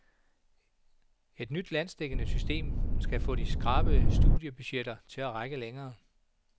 Et nyt landsdækkende system skal få de skrabede studiebudgetter til at række længere.